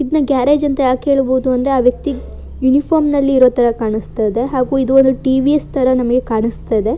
ಇದನ್ನ ಗ್ಯಾರೇಜು ಅಂತ ಯಾಕೆ ಹೇಳಬಹುದು ಅಂದ್ರೆ ಆ ವ್ಯಕ್ತಿ ಯುನಿಫಾರ್ಮ್ ನಲ್ಲಿ ಇರೋ ತರ ಕಾಣಿಸ್ತಾ ಇದೆ ಹಾಗು ಇದು ಓದು ಟಿ.ವಿ.ಎಸ್. ತರ ಕಾಣಿಸ್ತಾ ಇದೆ.